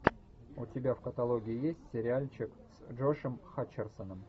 у тебя в каталоге есть сериальчик с джошем хатчерсоном